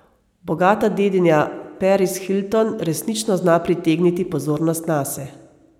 Bogata dedinja Paris Hilton resnično zna pritegniti pozornost nase.